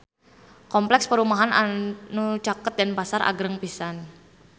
Kompleks perumahan anu caket Denpasar agreng pisan